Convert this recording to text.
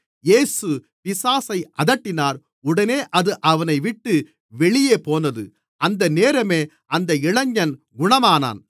இயேசு பிசாசை அதட்டினார் உடனே அது அவனைவிட்டுப் வெளியேபோனது அந்த நேரமே அந்த இளைஞன் குணமானான்